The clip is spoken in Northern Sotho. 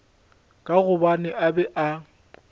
ka gobane a be a